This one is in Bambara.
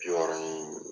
Bi wɔɔrɔ in